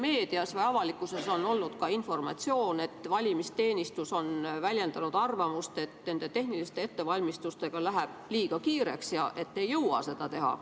Meedias või avalikkuses on olnud ka informatsioon, et valimisteenistus on väljendanud arvamust, et tehniliste ettevalmistustega läheb liiga kiireks ega jõuta neid teha.